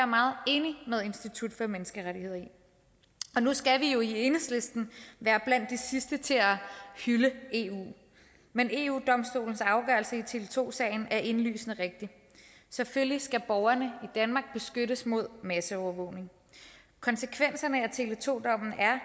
meget enig med institut for menneskerettigheder i nu skal vi jo i enhedslisten være blandt de sidste til at hylde eu men eu domstolens afgørelse i tele2 sagen er indlysende rigtig selvfølgelig skal borgerne i danmark beskyttes mod masseovervågning konsekvenserne af tele2 dommen er